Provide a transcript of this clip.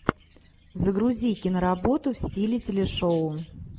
загрузи киноработу в стиле телешоу